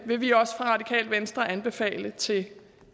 vil vi også fra radikale venstres side anbefale til